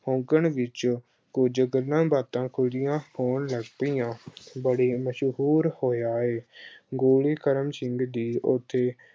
ਆਂਗਣ ਵਿੱਚੋਂ ਕੁਝ ਗੱਲਾਂ-ਬਾਤਾਂ ਅਜਿਹੀਆਂ ਹੋਣ ਲੱਗ ਪਈਆਂ ਬੜੀ ਮਸ਼ਹੂਰ ਹੋਈਆ ਏ ਅਹ ਗੋਲੀ ਕਰਮ ਸਿੰਘ ਦੀ ਉੱਥੇ